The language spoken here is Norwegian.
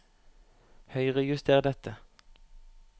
Høyrejuster dette